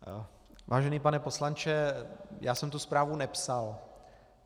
Vážený pane poslanče, já jsem tu zprávu nepsal.